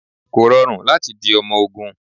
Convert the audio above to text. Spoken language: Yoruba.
Kò rọrùn láti di ọmọ ogún.